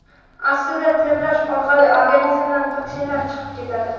Aslida, terlash orqali organizmdan toksinlar chiqib ketadi.